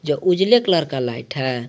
जो उजले कलर का लाइट है।